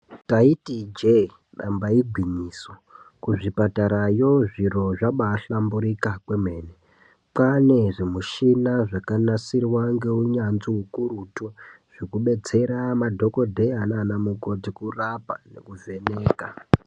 Ndaiti ijee namba igwinyiso, kuzvipatara yoo zviro zvabaahlamburika kwemene, kwane zvimushina zvakanasirwa neunyanzvi ukurutu. Zvekudetsera madhokodheya nanamukoti kurapa nekuvheneka.